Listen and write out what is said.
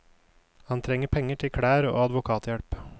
Han trenger penger til klær og advokathjelp.